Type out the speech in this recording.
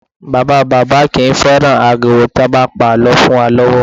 Bàbá bàbá kì í fẹ́ràn ariwo tí wọ́n bá ń pa àlọ́ fún wa lọ́wọ́